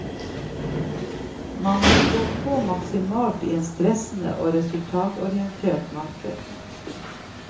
Man må stå på maksimalt i et stressende og resultatorientert marked.